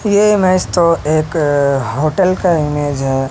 ये इमेज तो एक होटल का इमेज है।